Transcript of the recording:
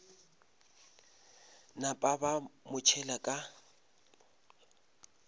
napa ba mo tšhela ka